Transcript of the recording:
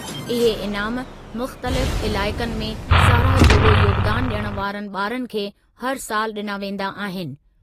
इहे इनामु मुख़्तलिफ़ इलाइक़नि में साराह जोॻो योगदानु ॾियण वारनि ॿारनि खे हर सालि ॾिना वेंदा आहिनि।